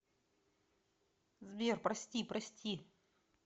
сбер прости прости